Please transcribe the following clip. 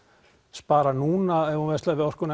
spara núna ef hún verslar við orkuna